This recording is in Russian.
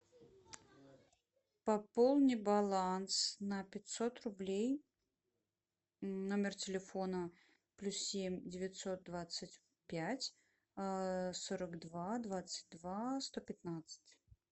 пополни баланс на пятьсот рублей номер телефона плюс семь девятьсот двадцать пять сорок два двадцать два сто пятнадцать